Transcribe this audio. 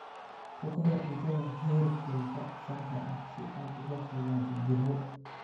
Ku kari cuntada heerkulka saxda ah si aad uga fogaato jirro.